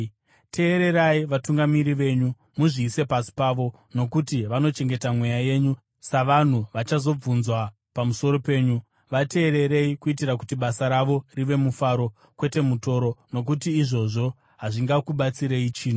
Teererai vatungamiri venyu, muzviise pasi pavo nokuti vanochengeta mweya yenyu, savanhu vachazobvunzwa pamusoro penyu. Vateererei kuitira kuti basa ravo rive mufaro, kwete mutoro, nokuti izvozvo hazvingakubatsirei chinhu.